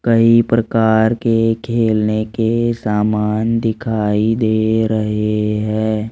कई प्रकार के खेलने के समान दिखाई दे रहे है।